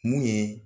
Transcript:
Mun ye